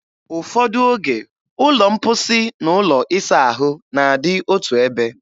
Ụfọdụ oge, ụlọ mposi na ụlọ ịsa ahụ na-adị otu ebe.